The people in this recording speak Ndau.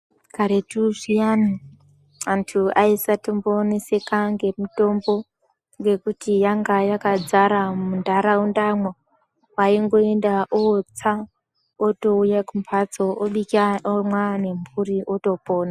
Karetu zviyani, antu aisatomboneseka ngemitombo ngekuti yanga yakadzara muntaurandamwo. Waingoenda owotsa otouya kumbatso obika, omwa nemburi, otopona.